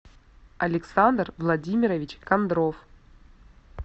александр владимирович кондров